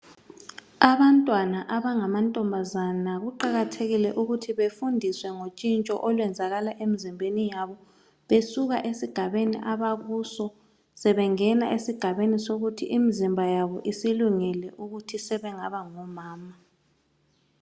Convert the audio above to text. Abantwana abangamantombazana kuqakathekile ukuthi befundiswe ngotshintsho olwenzakala emizimbeni yabo besuka esigabeni abakuso besiya esigabeni sokuthi imizimba yabo isilungele ukuthi sebengaba ngomama.